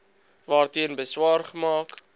waarteen beswaar gemaak